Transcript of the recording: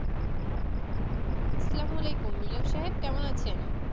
আস্সালামু আলাইকুম মিলন সাহেব কেমন আছেন